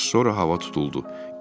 Az sonra hava tutuldu.